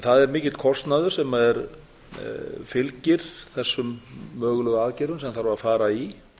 það er mikill kostnaður sem fylgir þessum mögulegu aðgerðum sem þarf að fara í